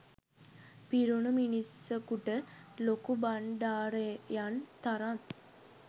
පිරුණු මිනිසකුට ලොකුබණ්ඩාරයන් තරම්